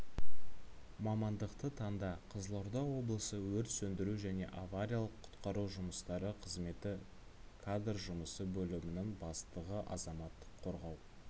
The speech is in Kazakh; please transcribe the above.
мамандықты таңда қызылорда облысы өрт сөндіру және авариялық-құтқару жұмыстары қызметі кадр жұмысы бөлімінің бастығы азаматтық қорғау